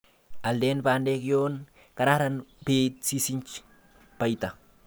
Alden bandek yon kararn beit sisisch baita.